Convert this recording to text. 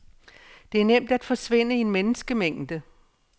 Det er nemt at forsvinde i en menneskemængde.